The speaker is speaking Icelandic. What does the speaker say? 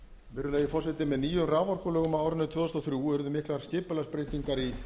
virðulegi forseti með nýjum raforkulögum á árinu tvö þúsund og þrjú urðu miklar skipulagsbreytingar í